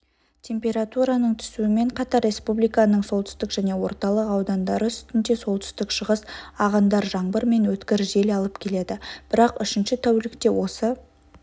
температураның түсуімен қатар республиканың солтүстік және орталық аудандары үстінде солтүстік-шығыс ағындар жаңбыр мен өткір жел алып келеді бірақ үшінші тәулікте осы